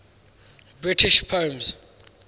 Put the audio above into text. british poems